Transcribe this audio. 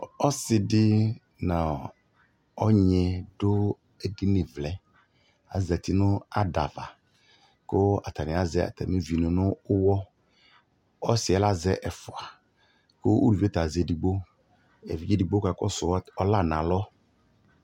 ɔsiidi nʋ ɔnyi dʋɛdini vlɛ, azati nʋ ada aɣa kʋ atani azɛ atamiʋvi nʋ ʋwɔ, ɔsiiɛ lazɛ ɛƒʋa kʋʋlʋviɛ ta azɛ ɛdigbɔ, ɛvidzɛ ɛdigbɔ kakɔsʋ ɔla nʋ alɔ